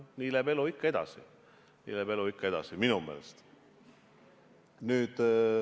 Nii läheb elu ikka edasi minu meelest.